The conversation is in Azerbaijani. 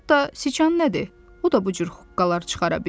Hətta siçan nədir, o da bu cür huqqalar çıxara bilir.